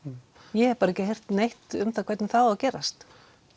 ég hef bara ekki heyrt neitt um það hvernig það á að gerast